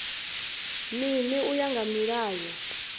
mini u ya nga mulayo